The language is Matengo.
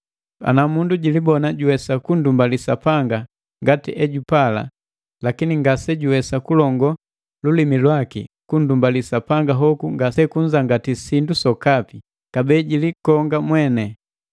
Ana mundu jilibona juwesa kundumbali Sapanga ngati ejupala, lakini ngasejuwesa kulongo lulimi lwaki, kundumbali Sapanga hoku ngasekunzangati sindu sokapi, kabee jilikonga mweni.